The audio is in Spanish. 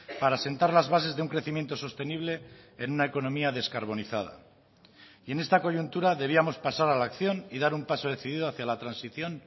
para sentar las bases de un crecimiento sostenible en una economía descarbonizada y en esta coyuntura debíamos pasar a la acción y dar un paso decidido hacia la transición